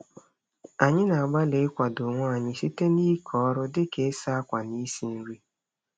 Anyị na-agbalị ịkwado onwe anyị site n'ike ọrụ dị ka ịsa akwa na isi nri.